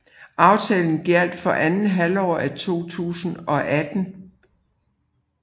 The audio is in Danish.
Aftalen gjaldt for andet halvår af 2018